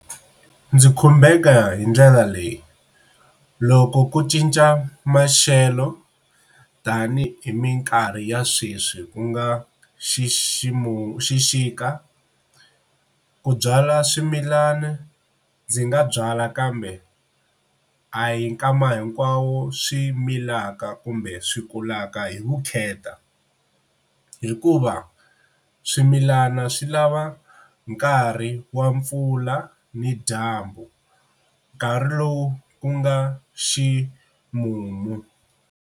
Ndzi khumbeka hi ndlela leyi, loko ku cinca maxelo tani hi minkarhi ya sweswi ku nga xiximu xixika ku byala swimilana ndzi nga byala kambe a hi nkama hinkwawo swi milaka kumbe swi kulaka hi vukheta hikuva swimilana swi lava nkarhi wa mpfula ni dyambu nkarhi lowu ku nga ximumu.